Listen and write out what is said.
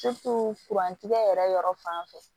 kuran tigɛ yɛrɛ yɔrɔ fan fɛ